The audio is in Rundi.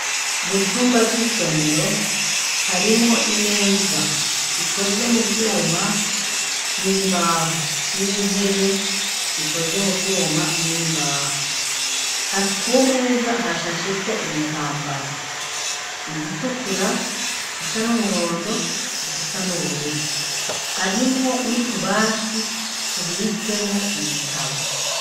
Mu cumba c'isomero harimwo imeza zikoze mu vyuma, n'imbaho, n'intebe zikoze mu vyuma n'imbaho kumeza hashashe ko ibitambara igitukura gisa n'umuhondo igisa n'ubururu, harimwo n'utubati tubitsemwo ibitabo.